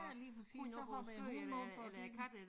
Ja lige præcis så hopper æ hund op og det